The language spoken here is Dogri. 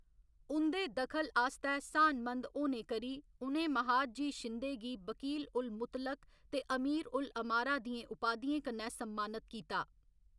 उं'दे दखल आस्तै स्हानमंद होने करी उ'नें महादजी शिंदे गी वकील उल मुतलक ते अमीर उल अमारा दियें उपाधियें कन्नै सम्मानत कीता।